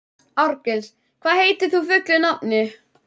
Árgils, hvað heitir þú fullu nafni?